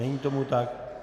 Není tomu tak.